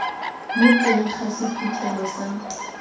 mo teng ga sephuthelo sa